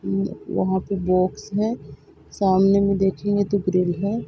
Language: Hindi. हूँ यहाँ पे बॉक्स है सामने में देखेंगे तो ड्रिल है।